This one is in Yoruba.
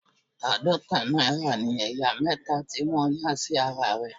Àádọta náírà ní ẹ̀yà mẹta tí wọ́n yà sí ara rẹ̀.